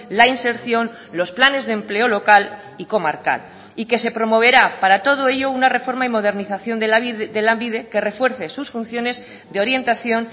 la inserción los planes de empleo local y comarcal y que se promoverá para todo ello una reforma y modernización de lanbide que refuerce sus funciones de orientación